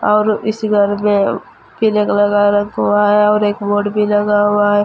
और इस दीवार पे पीले कलर का रंग हुआ है और एक बोर्ड भी लगा हुआ है।